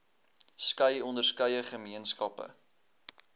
skei onderskeie gemeenskappe